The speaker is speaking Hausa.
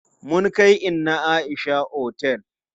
Mun kai inna Aisha otel.